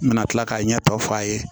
N bɛna tila k'a ɲɛ tɔw fɔ a ye